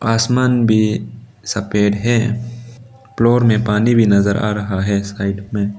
आसमान भी सफेद है फ्लोर में पानी भी नजर आ रहा है साइड में --